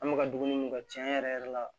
An bɛ ka dumuni mun kɛ cɛn yɛrɛ yɛrɛ la